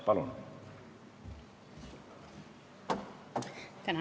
Palun!